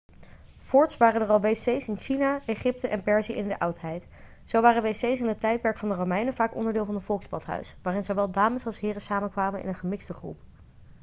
voorts waren er al wc's in china egypte en perzië in de oudheid zo waren wc's in het tijdperk van de romeinen vaak onderdeel van een volksbadhuis waarin zowel dames als heren samenkwamen in een gemixte groep